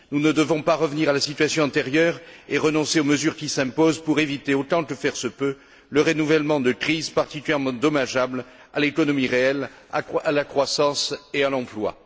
Nous ne devons pas revenir à la situation antérieure et renoncer aux mesures qui s'imposent pour éviter, autant que faire se peut, le renouvellement de crises particulièrement dommageables à l'économie réelle, à la croissance et à l'emploi.